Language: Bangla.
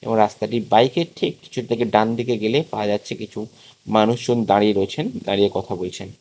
ও রাস্তাটি বাইকের ঠিক থেকে ডান দিকে গেলে পাওয়া যাচ্ছে কিছু মানুষজন দাঁড়িয়ে রয়েছেন দাঁড়িয়ে কথা বলছেন।